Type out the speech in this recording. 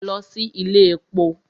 Lọ sí ilé èpo!